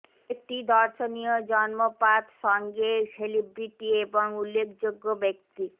একটি দর্শনীয় জন্ম পাথ সঙ্গে সেলিব্রিটি এবং উল্লেখযোগ্য ব্যক্তি